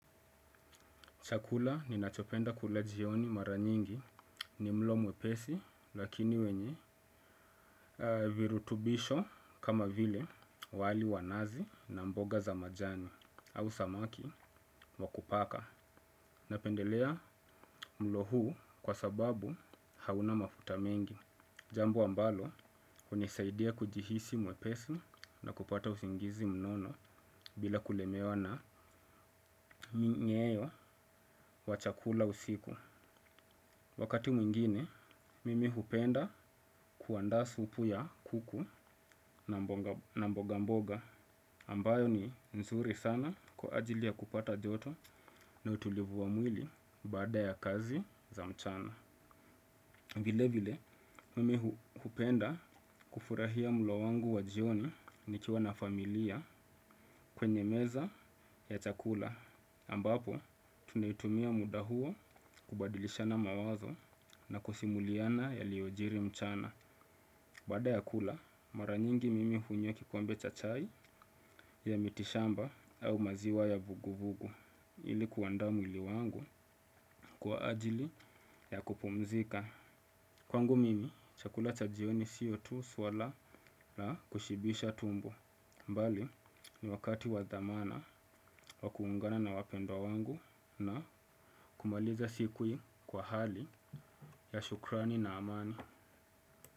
Chakula ninachopenda kula jioni mara nyingi ni mlo mwepesi lakini wenye virutubisho kama vile wali wa nazi na mboga za majani au samaki wa kupaka. Napendelea mlo huu kwa sababu hauna mafuta mengi. Jambo ambalo hunisaidia kujihisi mwepesi na kupata usingizi mnono bila kulemewa na minyeo wa chakula usiku. Wakati mwingine, mimi hupenda kuandaa supu ya kuku na mboga mboga ambayo ni nzuri sana kwa ajili ya kupata joto na utulivu wa mwili bada ya kazi za mchana. Vile vile, mimi hupenda kufurahia mulo wangu wa jioni nikiwa na familia kwenye meza ya chakula. Ambapo, tunaitumia muda huo kubadilishana mawazo na kusimuliana yaliojiri mchana. Bada ya kula, mara nyingi mimi hunywa kikombe cha chai ya mitishamba au maziwa ya vugu vugu. Ili kuandaa mwili wangu kwa ajili ya kupumzika. Kwangu mimi, chakula cha jioni sio tu swala na kushibisha tumbo. Bali, ni wakati wa dhamana wa kuungana na wapendwa wangu na kumaliza siku kwa hali ya shukrani na amani.